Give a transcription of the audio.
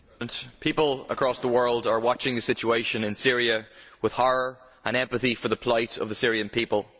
Mr President, people across the world are watching the situation in Syria with horror and empathy for the plight of the Syrian people.